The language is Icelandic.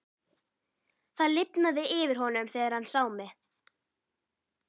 Það lifnaði yfir honum þegar hann sá mig.